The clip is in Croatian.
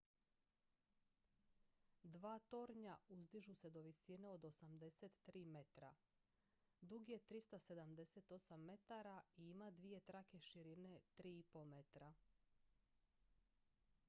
dva tornja uzdižu se do visine od 83 metra dug je 378 metara i ima dvije trake široke 3,50 m